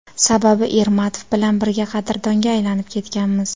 Sababi Ermatov bilan birga qadrdonga aylanib ketganmiz.